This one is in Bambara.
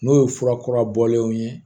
N'o ye furakura bɔlenw ye